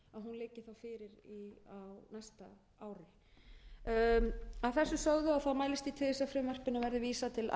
úttekt þannig að hún liggi þá fyrir á næsta ári að þessu sögðu mælist ég til þess að frumvarpinu verði vísað til